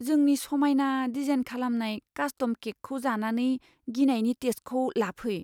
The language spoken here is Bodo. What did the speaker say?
जोंनि समायना डिजाइन खालामनाय कास्टम केकखौ जानानै गिनायनि टेस्टखौ लाफै।